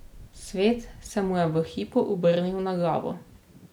Svet se mu je v hipu obrnil na glavo.